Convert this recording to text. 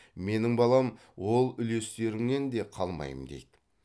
менің балам ол үлестеріңнен де қалмаймын дейді